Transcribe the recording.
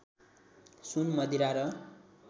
सुन मदिरा र